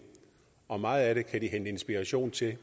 og meget af det kan de hente inspiration til